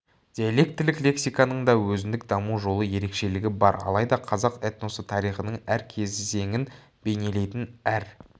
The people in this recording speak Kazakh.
диалектілік лексиканың да өзіндік даму жолы ерекшелігі бар алайда қазақ этносы тарихының әр кезеңін бейнелейтін әр